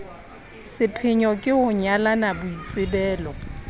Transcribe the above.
sepheyo ke ho nyalanya boitsebelo